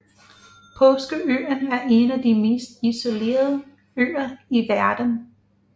Påskeøen er en af de mest isolerede øer i verden